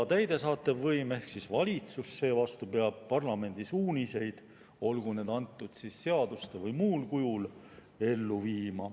Täidesaatev võim ehk valitsus seevastu peab parlamendi suuniseid, olgu need antud seadustena või muul kujul, ellu viima.